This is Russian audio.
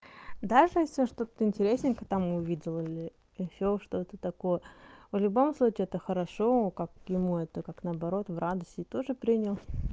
даже если что-то интересненькое там увидел или ещё что такое в любом случае это хорошо как ему это как наоборот в радость и тоже принял